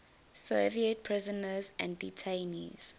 soviet prisoners and detainees